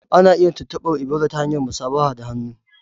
Ana iya tuntubar Ebola ta hanyar musafaha da hannu.